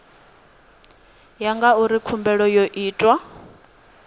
ya ngauri khumbelo yo itwa